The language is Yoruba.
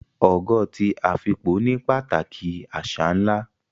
Ogo ti Afikpo ní pàtàkì àṣà ńlá